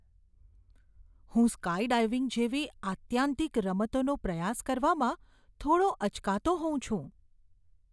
હું સ્કાયડાઈવિંગ જેવી આત્યંતિક રમતોનો પ્રયાસ કરવામાં થોડો અચકાતો હોઉં છું.